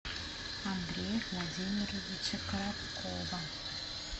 андрея владимировича короткова